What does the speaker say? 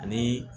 Ani